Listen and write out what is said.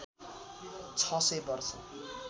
छ सय वर्ष